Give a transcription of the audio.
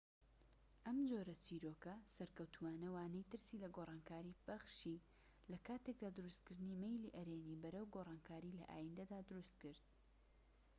ئەم جۆرە چیرۆكە سەرکەوتووانە وانەی ترسی لە گۆڕانکاری بەخشی لە کاتێکدا دروستکردنی مەیلی ئەرێنی بەرەو گۆڕانکاری لە ئایندەدا دروستکرد